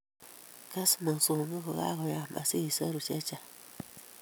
Kes mosongik kokayam asi isoru che chang'